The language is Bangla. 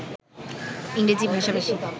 ইংরেজি ভাষাভাষী